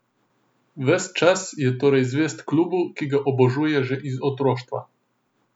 Ves čas je torej zvest klubu, ki ga obožuje že iz otroštva.